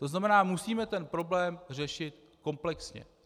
To znamená, musíme ten problém řešit komplexně.